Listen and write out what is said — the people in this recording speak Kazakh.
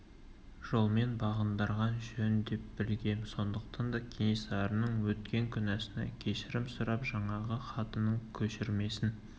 жолмен бағындырған жөн деп білгем сондықтан да кенесарының өткен күнәсына кешірім сұрап жаңағы хатының көшірмесін